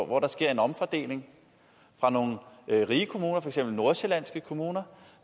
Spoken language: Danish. hvor der sker en omfordeling fra nogle rige kommuner for eksempel nordsjællandske kommuner